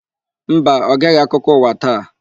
Mba, Ọ geghị akụkọ ụwa taa.